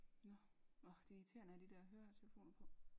Nå årh det er irriterende at have de der høretelefoner på